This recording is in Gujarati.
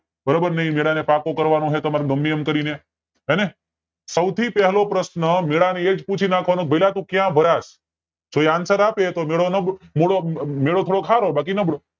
બરોબર એ મેલા ને પાક્કો કરવાનો નો હોય તમારે ગમે એમ કરીને સૌ થી પેલા પ્રશ્ન મેલા ને એજ પૂછી નાખવાનો ભાયલા તું ક્યાં ભરા છો જો answer આપે તો મેળો નબળ તો મેળો થોડોક સારો બાકી નબળો